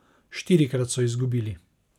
Štirikrat so izgubili.